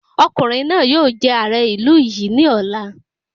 Ọkùnrin náà yóò jẹ ààrẹ ìlú yìí ní ọ̀la